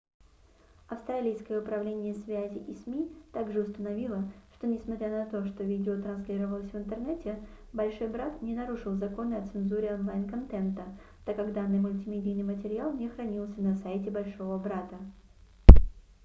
австралийское управление связи и сми также установило что несмотря на то что видео транслировалось в интернете большой брат не нарушил законы о цензуре онлайн-контента так как данный мультимедийный материал не хранился на сайте большого брата